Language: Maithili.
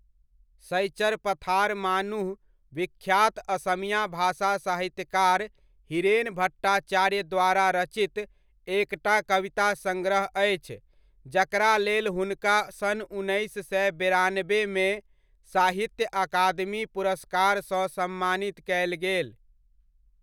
शइचर पथार मानुह विख्यात असमिया भाषा साहित्यकार हीरेन भट्टाचार्य द्वारा रचित एकटा कविता संग्रह अछि जकरा लेल हुनका सन उन्नैस सए बेरानबेमे साहित्य अकादमी पुरस्कार सँ सम्मानित कयल गेल।